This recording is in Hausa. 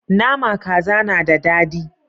Nama kaza na da dadi